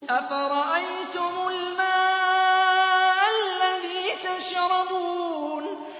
أَفَرَأَيْتُمُ الْمَاءَ الَّذِي تَشْرَبُونَ